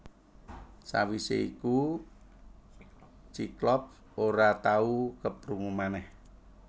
Sawisé iku Cyclops ora tau keprungu manèh